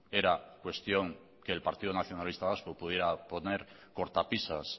era cuestión que el partido nacionalista vasco pudiera poner cortapisas